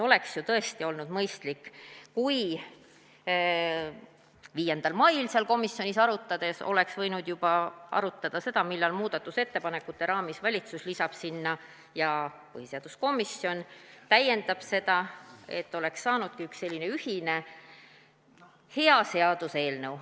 Oleks ju tõesti olnud mõistlik, kui 5. mail komisjonis arutades oleks võinud juba arutada seda, millal muudatusettepanekute raamis lisab valitsus oma ettepaneku sinna ja põhiseaduskomisjon täiendab seda, et oleks saanudki ühe sellise ühise hea seaduseelnõu.